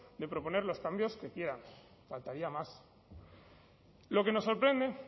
de proponer los cambios que quieran faltaría más lo que nos sorprende